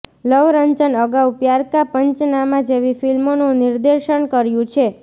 લવ રંજન અગાઉ પ્યાર કા પંચનામા જેવી ફિલ્મોનું નિર્દેશન કર્યું છે